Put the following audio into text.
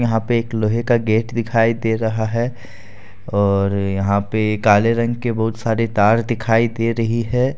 यहाँ पे एक लोहे का गेट दिखाई दे रहा है और यहां पर काले रंग के बहुत सारे तार दिखाई दे रही है।